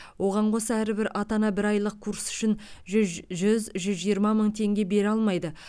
оған қоса әрбір ата ана бір айлық курс үшін зүз жүз жүз жиырма мың теңге бере алмайды